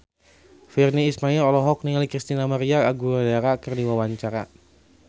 Virnie Ismail olohok ningali Christina María Aguilera keur diwawancara